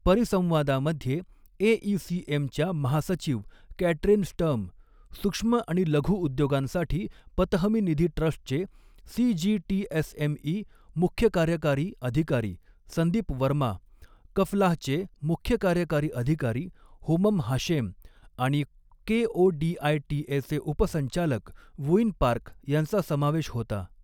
परिसंवादामध्ये AECM च्या महासचिव Katrin Sturm, सूक्ष्म आणि लघु उद्योगांसाठी पतहमी निधी ट्रस्टचे सीजीटीएसएमई मुख्य कार्यकारी अधिकारी संदीप वर्मा, कफलाहचे मुख्य कार्यकारी अधिकारी होमम हाशेम, आणि केओडीआयटीए चे उपसंचालक वूइन पार्क यांचा समावेश होता.